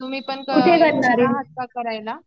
तुम्ही पण करायला